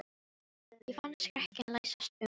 Ég fann skrekkinn læsast um mig.